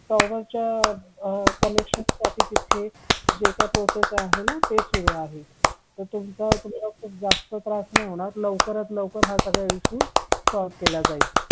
tower permission साठी तिथे जे काय प्रोसेस आहे ना ते सुरू आहे तर तुमचा इथे खूप जास्त त्रास नाही होणार लवकरात लवकर हा सगळा issue solve केला जाईल